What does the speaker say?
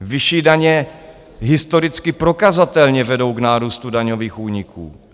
Vyšší daně historicky prokazatelně vedou k nárůstu daňových úniků.